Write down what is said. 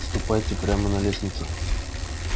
ступайте прямо на лестницу